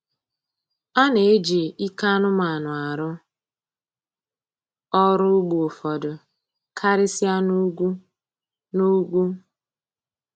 A na-eji ike anụmanụ arụ ọrụ ugbo ụfọdụ, karịsịa na ugwu. na ugwu.